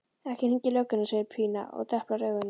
Ekki hringja í lögguna, segir Pína og deplar augunum.